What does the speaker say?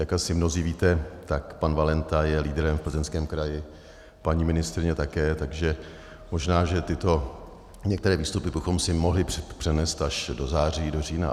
Jak asi mnozí víte, tak pan Valenta je lídrem v Plzeňském kraji, paní ministryně také, takže možná že tyto některé výstupy bychom si mohli přenést až do září, do října.